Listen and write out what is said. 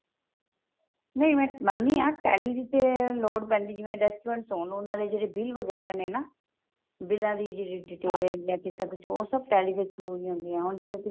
ਨਹੀਂ ਮੈਂ ਮੰਨਦੀ ਹਾਂ tally ਦੀ ਤੇ ਲੋੜ ਪੈਂਦੀ ਜਿਵੇਂ restaurant ਹੋਣ ਉਹਨਾ ਦੇ ਜਿਹੜੇ bill ਵਗੇਰਾ ਨੇ ਨਾ ਬਿਲਾਂ ਦੀ ਜਿਹੜੀ detail ਜਾਂ ਕਿਸੇ ਦੀ ਉਹ ਉਹ ਸਭ tally ਦੇ through ਹੀ ਹੁੰਦੀਆਂ